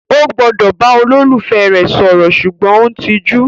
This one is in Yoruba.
O gbọdọ bá olólùfẹ́ rẹ sọ̀rọ̀ sùgbọ́n o n tijú?